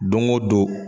Don go don